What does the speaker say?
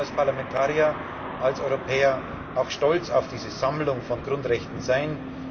Wir sollten als Parlamentarier, als Europäer, auch stolz auf diese Sammlung von Grundrechten sein.